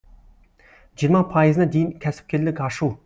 жиырма пайызына дейін кәсіпкерлік ашу